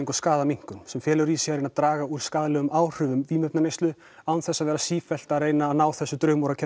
og skaðaminnkun sem felur í sér að draga úr skaðlegum áhrifum vímuefnaneyslu án þess að vera sífellt að ná þessu